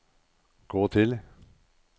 gå til